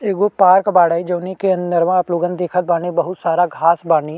एगो पार्क बाड़े जउने के अंदरवा आप लोगन देखत बानी बहुत सारा घाँस बानी --